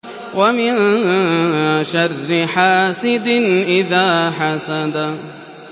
وَمِن شَرِّ حَاسِدٍ إِذَا حَسَدَ